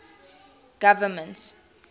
government